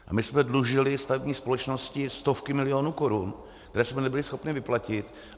A my jsme dlužili stavební společnosti stovky milionů korun, které jsme nebyli schopni vyplatit.